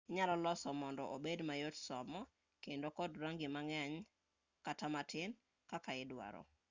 inyalo lose mondo obed mayot somo kendo kod rangi mang'eny kata matin kaka idwaro